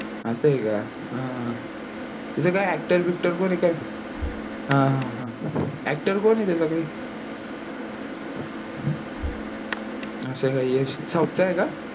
असा हे क अह त्याचा actor बीकटर कोण आहे काय. हा हा हा actor कोण हे त्याच काही? असा हे का यश south चा हे का?